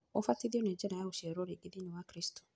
ũbatithio nĩ njĩra ya gũciarwo rĩngĩ thĩiniĩ wa Kristo.